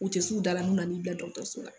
U tɛ su da la n'u nana n'i bila dɔkɔtɔrɔso la